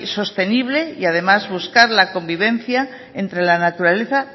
sostenible y además buscar la convivencia entre la naturaleza